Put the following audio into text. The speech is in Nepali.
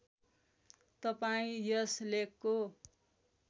तपाईँ यस लेखको